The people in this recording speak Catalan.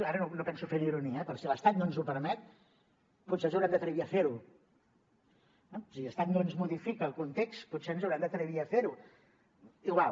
ara no penso fer una ironia eh però si l’estat no ens ho permet potser ens haurem d’atrevir a fer ho si l’estat no ens modifica el context potser ens haurem d’atrevir a fer ho igual